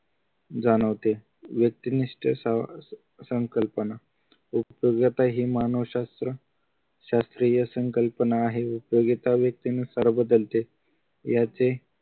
जाणवते व्यक्तिनिष्ठ सा संकल्पना उपयोगिता हे मानवशास्त्र शास्त्रीय संकल्पना आहे उपयोगिता व्यक्तीनुसार बदलते याचे